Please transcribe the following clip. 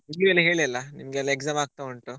ಹೇಳಿಲ್ಲ ನಿಮ್ಗೆಲ್ಲ exam ಆಗ್ತಾ ಉಂಟು.